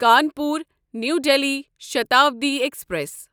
Kanpur new Delhi Shatabdi express